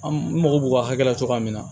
An mago b'u ka hakɛ la cogoya min na